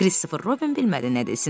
Kristofer Robin bilmədi nə desin.